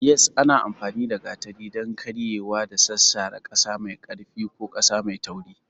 Yes, ana amfani da gatari don karyewa da sassara ƙasa mai ƙarfi ko ƙasa mai tauri.